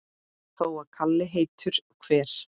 Þó að kali heitur hver